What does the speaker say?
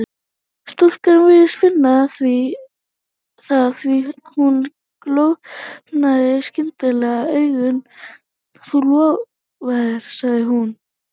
Stúlkan virtist finna það því að hún galopnaði skyndilega augun: Þú lofaðir sagði hún.